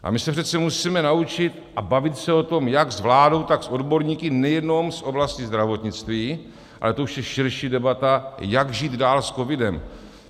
A my se přece musíme naučit a bavit se o tom jak s vládou, tak s odborníky nejenom z oblasti zdravotnictví, ale to už je širší debata, jak žít dál s covidem.